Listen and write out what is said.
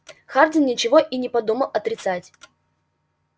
хардин ничего и не подумал отрицать